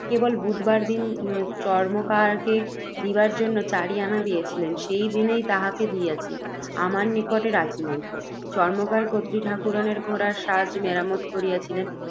কেবল বুধবার দিন, চর্ম্মকারকে দিবার জন্য, চারি আনা দিয়াছিলেন, সেই দিনেই তাহাকে দিয়াছি, আমার নিকটে রাখি নাই, চর্ম্মকার কর্ত্রী ঠাকুরাণীর ঘোড়ার সাজ মেরামত করিয়াছিল।